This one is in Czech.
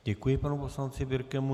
Děkuji panu poslanci Birkemu.